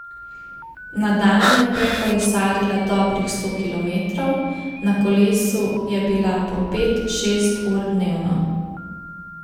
Na dan je prekolesarila dobrih sto kilometrov, na kolesu je bila po pet, šest ur dnevno.